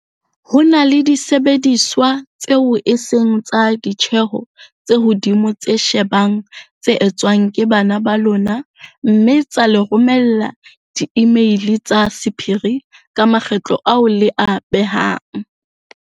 Ho na le disebediswa tseo e seng tsa ditjeho tse hodimo tse ka shebang tse etswang ke bana ba lona mme tsa le romella diimeili tsa sephiri ka makgetlo ao le a behang.